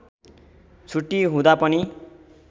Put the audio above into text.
छुट्टी हुँदा पनि